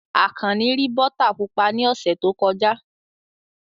Akanni rí bọ́tà pupa ní ọ̀sẹ̀ tó kọjá.